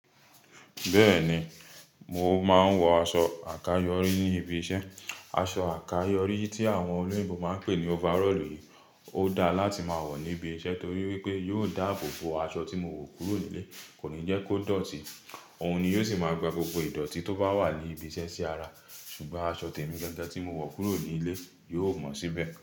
Bẹ́ẹ̀ni, mo máa ń wọ aṣọ àkayọrí ní ibi iṣẹ́. Aṣọ àkayọrí tí àwọn olóyìnbo máa ń pè ní overall yìí, ó dáa láti máa wọ̀ níbi iṣẹ́ torí wípé yóò dáàbòbo aṣọ tí mo wọ̀ kúrò nílé, kò ní jẹ́ kó dọ̀tí. Òun ni yóò sì máa gba gbogbo ìdọ̀tí tó bá wà ní ibi iṣẹ́ sí ara, ṣùgbọ́n aṣọ tèmi gángan tí mo wọ̀ kúrò nílé yóò mọ síbẹ̀